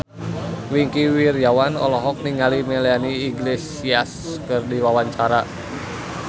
Wingky Wiryawan olohok ningali Melanie Iglesias keur diwawancara